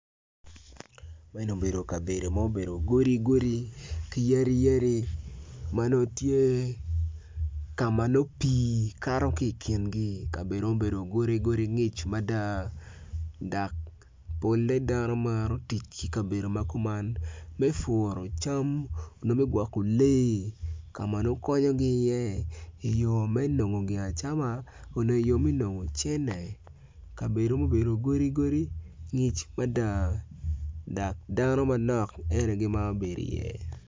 Ma eni obedo kabedo ma obedo godi godi ki yadi yadi ma nongo tye ka ma nongo pii kato ki i kingi kadebo mubedo godi godi ngic mada dak polle dano maro tic ki kabedo ma kuman me furu cam onyo me gwokko lee ka ma nongo konyogi iye i yo me nongo gia acama onyo i yo me nongo cene kabedo mubedo godi godi ngic mada dak dano manok en aye gimaro bedi iye